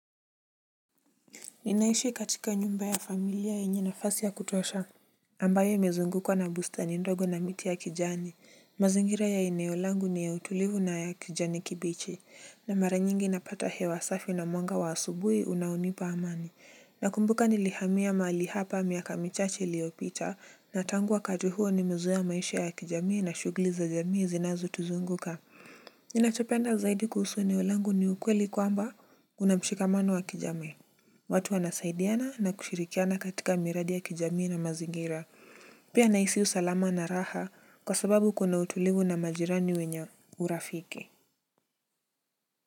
Ninaishi katika nyumba ya familia yenye na fasi ya kutosha. Ambayo imezunguka na busta ni ndogo na miti ya kijani. Mazingira ya eneolangu ni ya utulivu na ya kijani kibichi. Na mara nyingi napata hewasafi na mwanga wa asubui unaonipa amani. Nakumbuka nilihamia mali hapa miaka michache liopita. Na tanguwa kati huo ni mezoea maisha ya kijamii na shugli za jamii zinazo tuzunguka. Ninachopenda zaidi kuhusu eneolangu ni ukweli kwamba unamshika mano wa kijamii. Watu wanasaidiana na kushirikiana katika miradi ya kijamii na mazingira. Pia naisiu salama na raha kwa sababu kuna utulivu na majirani wenya urafiki.